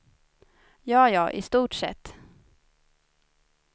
Ja ja, i stort sett.